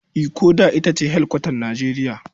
Ikko da ita ce hedikwatar Nijeriya.